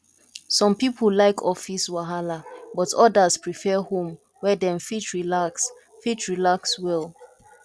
some people like office wahala but others prefer home where dem fit relax fit relax well